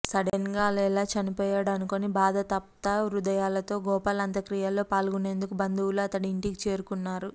సడెన్గా అలా ఎలా చనిపోయాడు అనుకుని బాధాతప్త హృదయాలతో గోపాల్ అంత్యక్రియల్లో పాల్గొనేందుకు బంధువులు అతడి ఇంటికి చేరుకున్నారు